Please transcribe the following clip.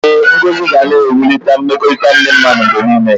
Ee, ngọzi ga na-ewulite mmekọrịta ndị mmadụ mgbe niile.